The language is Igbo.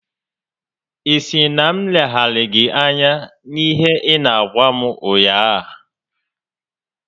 Ị sịrị na m leghara gị anya n'ihe ị n'agwa m ụnyaahụ?